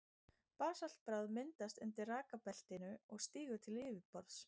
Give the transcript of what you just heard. Basaltbráð myndast undir rekbeltinu og stígur til yfirborðs.